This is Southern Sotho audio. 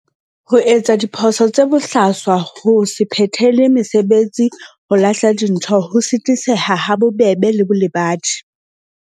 Ho etsa diphoso tse bohlaswa ho se phethele mesebetsi ho lahla dintho ho sitiseha ha bobebe le bolebadi.